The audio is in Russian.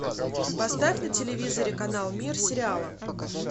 поставь на телевизоре канал мир сериала